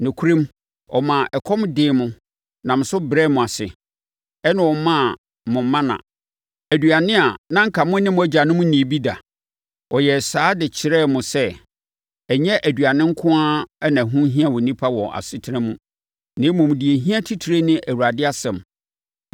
Nokorɛm, ɔmaa ɛkɔm dee mo nam so brɛɛ mo ase, ɛnna ɔmaa mo mana, aduane a na anka mo ne mo agyanom nnii bi da. Ɔyɛɛ saa de kyerɛɛ mo sɛ, ɛnyɛ aduane nko ara na ɛho hia onipa wɔ nʼasetena mu, na mmom, deɛ ɛhia titire ne Awurade asɛm.